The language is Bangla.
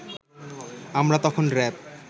আমরা তখন র‍্যাব